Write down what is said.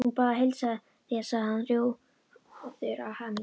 Hún bað að heilsa þér sagði hann rjóður af hamingju.